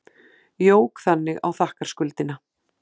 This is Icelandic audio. Jók þannig á þakkarskuldina.